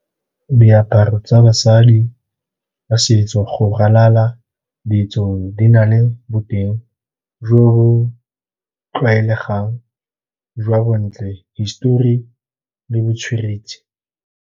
Diaparo tsa basadi, setso go ralala ditsong, di na le boteng jo bo tlwaelegang jwa bontle, histori le botsweretshi.